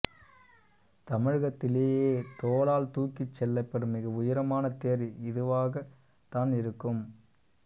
தமிழகத்திலேயே தோளால் தூக்கிச் செல்லப்படும் மிக உயரமான தேர் இதுவாகத் தான் இருக்கும்